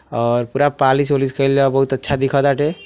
और पूरा पॉलिश ओलिश कईलजा। बहोत अच्छा दिखताटे ।